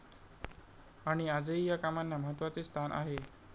आणि आजही या कामांना महत्वाचे स्थान आहे.